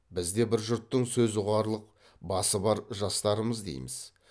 біз де бір жұрттың сөз ұғарлық басы бар жастарымыз дейміз